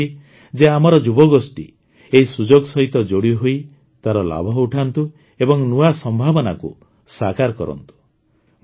ମୁଁ ଚାହିଁବି ଯେ ଆମର ଯୁବଗୋଷ୍ଠୀ ଏହି ସୁଯୋଗ ସହିତ ଯୋଡ଼ିହୋଇ ତାର ଲାଭ ଉଠାନ୍ତୁ ଏବଂ ନୂଆ ସମ୍ଭାବନାକୁ ସାକାର କରନ୍ତୁ